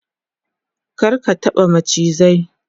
kar ka taɓa macizai!